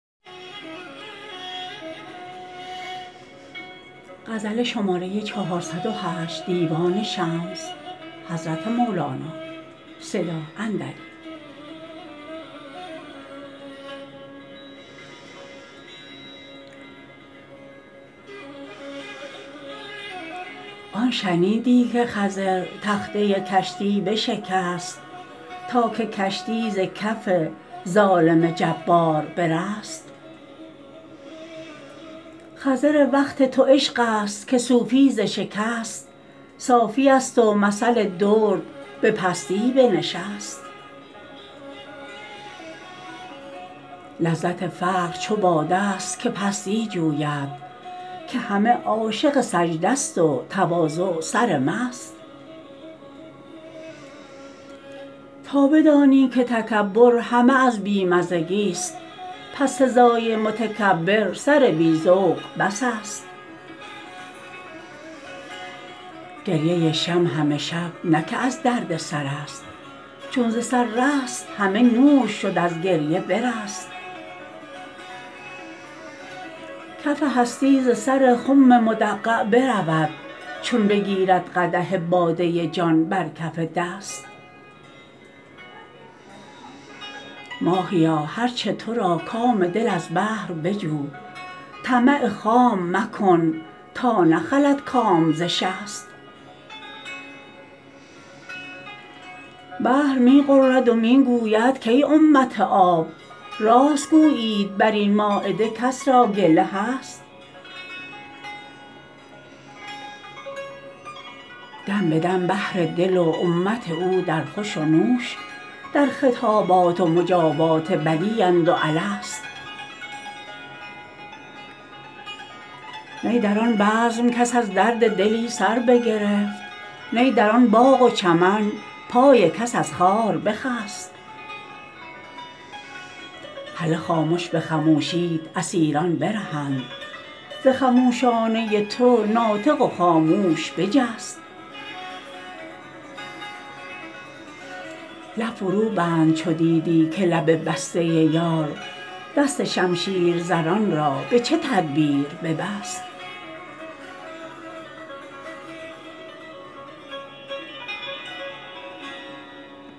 آن شنیدی که خضر تخته کشتی بشکست تا که کشتی ز کف ظالم جبار برست خضر وقت تو عشق است که صوفی ز شکست صافی است و مثل درد به پستی بنشست لذت فقر چو باده ست که پستی جوید که همه عاشق سجده ست و تواضع سرمست تا بدانی که تکبر همه از بی مزگیست پس سزای متکبر سر بی ذوق بس است گریه شمع همه شب نه که از درد سرست چون ز سر رست همه نور شد از گریه برست کف هستی ز سر خم مدمغ برود چون بگیرد قدح باده جان بر کف دست ماهیا هر چه تو را کام دل از بحر بجو طمع خام مکن تا نخلد کام ز شست بحر می غرد و می گوید کای امت آب راست گویید بر این مایده کس را گله هست دم به دم بحر دل و امت او در خوش و نوش در خطابات و مجابات بلی اند و الست نی در آن بزم کس از درد دلی سر بگرفت نی در آن باغ و چمن پای کس از خار بخست هله خامش به خموشیت اسیران برهند ز خموشانه تو ناطق و خاموش بجست لب فروبند چو دیدی که لب بسته یار دست شمشیرزنان را به چه تدبیر ببست